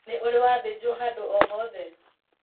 Nĩ ũrĩ wa thĩnjwo hadũ o hothe?